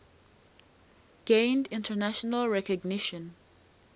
gained international recognition